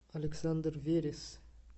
александр верес